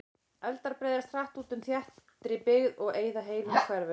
Eldar breiðast hratt út í þéttri byggð og eyða heilum hverfum.